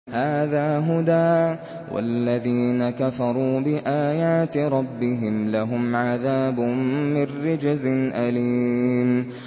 هَٰذَا هُدًى ۖ وَالَّذِينَ كَفَرُوا بِآيَاتِ رَبِّهِمْ لَهُمْ عَذَابٌ مِّن رِّجْزٍ أَلِيمٌ